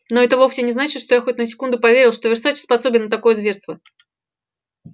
но это вовсе не значит что я хоть на секунду поверил что версаче способен на такое зверство